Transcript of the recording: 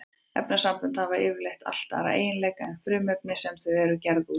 Efnasambönd hafa yfirleitt allt aðra eiginleika en frumefnin sem þau eru gerð úr.